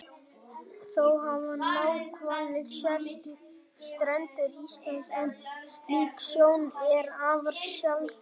Þó hafa náhvalir sést við strendur Íslands en slík sjón er afar sjaldgæf.